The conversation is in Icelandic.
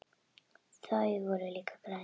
Þau voru líka græn.